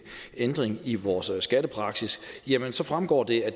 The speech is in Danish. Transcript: ændring i vores skattepraksis jamen så fremgår det at